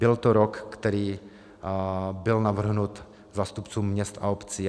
Byl to rok, který byl navrhnut zástupcům měst a obcí.